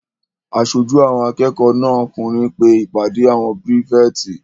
Aṣojú àwọn akẹ́kọ̀ọ́ náà okùnrin pe ìpàdé àwọn pírífẹ̀tì